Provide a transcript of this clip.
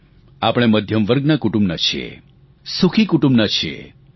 આપણે મધ્યમવર્ગના કુટુંબના છીએ સુખી કુટુંબના છીએ